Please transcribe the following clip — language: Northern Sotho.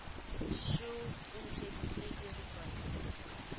šoo o ntšheditše dirotswana ka